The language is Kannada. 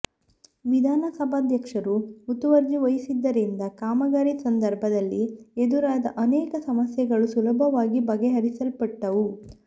ವಿಧಾನಸಭಾಧ್ಯಕ್ಷರು ಮುತುವರ್ಜಿ ವಹಿಸಿದ್ದರಿಂದ ಕಾಮಗಾರಿ ಸಂದರ್ಭ ದಲ್ಲಿ ಎದುರಾದ ಅನೇಕ ಸಮಸ್ಯೆಗಳು ಸುಲಭವಾಗಿ ಬಗೆಹರಿಸಲ್ಪಟ್ಟವು